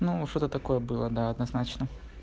ну что-то такое было да однозначно